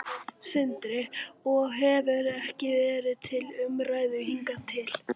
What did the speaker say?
Sindri: Og hefur ekki verið til umræðu hingað til?